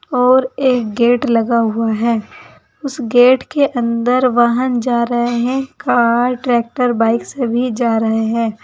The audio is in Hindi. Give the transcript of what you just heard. और एक गेट लगा हुआ है उसे गेट के अंदर वाहन जा रहे हैं कार ट्रैक्टर बाइक सभी जा रहे हैं।